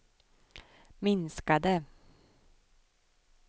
minskade